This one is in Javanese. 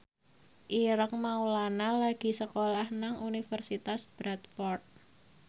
Ireng Maulana lagi sekolah nang Universitas Bradford